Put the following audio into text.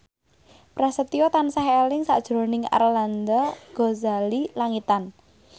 Prasetyo tansah eling sakjroning Arlanda Ghazali Langitan